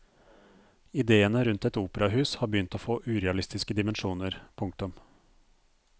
Idéene rundt et operahus har begynt å få urealistiske dimensjoner. punktum